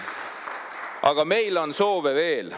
Aga meil on soove veel.